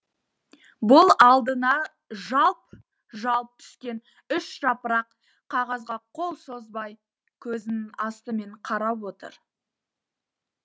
бұл алдына жалп жалп түскен үш жапырақ қағазға қол созбай көзінің астымен қарап отыр